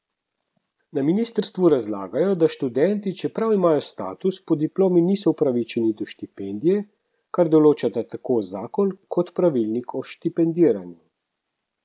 Na ministrstvu razlagajo, da študenti, čeprav imajo status, po diplomi niso upravičeni do štipendije, kar določata tako zakon kot pravilnik o štipendiranju.